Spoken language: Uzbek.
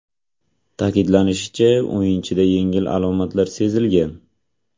Ta’kidlanishicha, o‘yinchida yengil alomatlar sezilgan.